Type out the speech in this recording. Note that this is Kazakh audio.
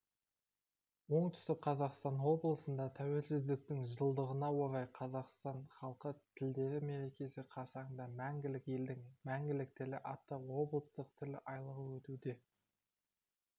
оңтүстік қазақстан облысында тәуелсіздіктің жылдығына орай қазақстан халқы тілдері мерекесі қарсаңында мәңгілік елдің мәңгілік тілі атты облыстық тіл айлығы өтуде деп